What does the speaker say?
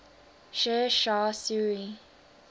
sher shah suri